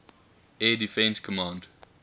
air defense command